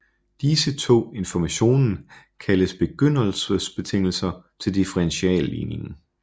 Disse to informationen kaldes begyndelsesbetingelser til differentialligningen